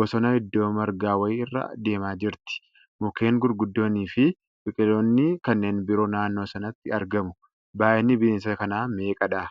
Bosona iddoo margaa wayii irra deemaa jirti. mukkeen gurguddoonni fi biqiloonni kanneen biroo naannoo sanatti argamu. Baay'inni bineensa kanaa meeqadha?